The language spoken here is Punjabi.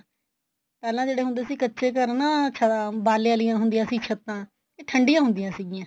ਪਹਿਲੇ ਜਿਹੜੇ ਹੁੰਦੇ ਸੀ ਕੱਚੇ ਘਰ ਨਾ ਛਾ ਬਾਲੇ ਆਲਿਆ ਹੁੰਦਿਆ ਸੀ ਛੱਤਾ ਇਹ ਠੰਡੀ ਹੁੰਦਿਆ ਸੀਗੀਆ